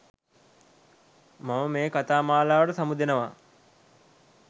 මම මේ කතා මාලාවට සමුදෙනවා